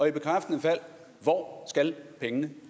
i bekræftende fald hvor skal pengene